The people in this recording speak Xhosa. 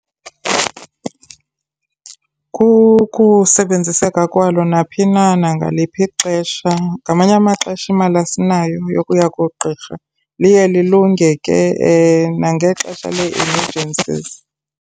Kukusebenziseka kwaloo naphi na nangaliphi ixesha, ngamanye amaxesha imali asinayo yokuya kugqirha. Liye lilunge ke nangexesha le-emergencies.